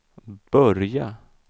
börja